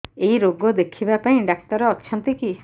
ଏଇ ରୋଗ ଦେଖିବା ପାଇଁ ଡ଼ାକ୍ତର ଅଛନ୍ତି କି